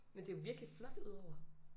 Men det jo virkelig flot udover